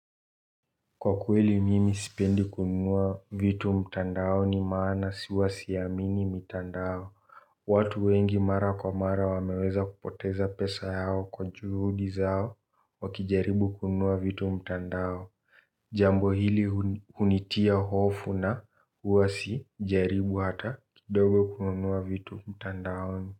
Kwa kweli mimi sipendi kunua vitu mtandaoni maana huwa siamini mitandao. Watu wengi mara kwa mara wameweza kupoteza pesa yao kwa juhudi zao wakijaribu kunua vitu mtandao. Jambo hili hunitia hofu na uwa sijaribu hata, kidogo kunua vitu mtandaoni.